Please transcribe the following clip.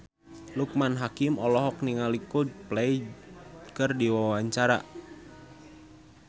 Loekman Hakim olohok ningali Coldplay keur diwawancara